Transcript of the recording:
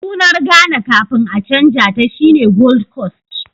Sunar Ghana kafin a canja ta shine Gold Coast